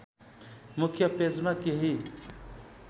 मुख्य पेजमा केही